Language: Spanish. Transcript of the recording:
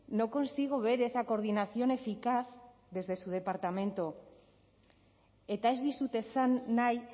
no consigo ver esa coordinación eficaz desde su departamento eta ez dizut esan nahi